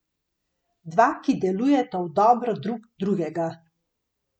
Dva, ki delujeta v dobro drug drugega.